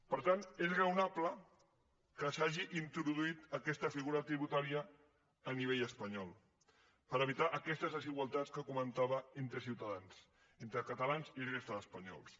per tant és raonable que s’hagi introduït aquesta figura tributària a nivell espanyol per evitar aquestes desigualtats que comentava entre ciutadans entre catalans i la resta d’espanyols